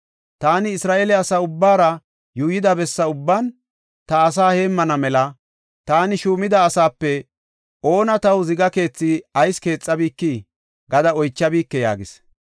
Taani Isra7eele asa ubbaara yuuyida bessa ubban, ta asaa heemmana mela taani shuumida asaape oona Taw ziga keethi ayis keexabikii?’ gada oychabike” yaagees.